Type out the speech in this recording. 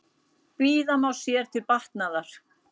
Bíða má sér til batnaðar.